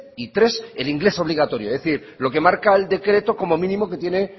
y tres el inglés obligatorio es decir lo que marca el decreto como mínimo que tiene